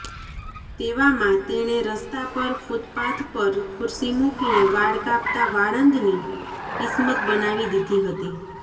તેવામાં તેણે રસ્તા પર ફૂટપાથ પર ખુરશી મુકીને વાળ કાપતાં વાળંદની કિસ્મત બનાવી દીધી હતી